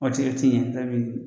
O ti yen ti ye fɛn min ye